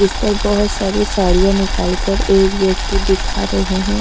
इसपर बहोत सारी साड़िया निकाल कर एक व्यक्ति दिखा रहे है।